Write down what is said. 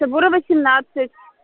суворова семнадцать